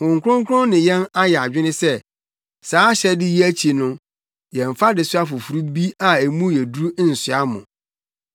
Honhom Kronkron ne yɛn ayɛ adwene sɛ, saa ahyɛde yi akyi no yɛmmfa adesoa foforo bi a emu yɛ duru nsoa mo;